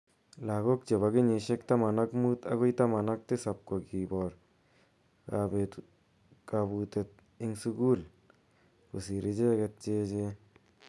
Lagok chepo kenyishek taman ak mut akoi taman ak tisap ko kipor kaputet ing sukul ko sir icheket che echen.